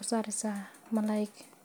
usameyni wena ficantahay bulshaada daxdedha.